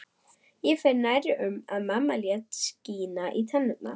Ég fer nærri um að mamma lét skína í tennurnar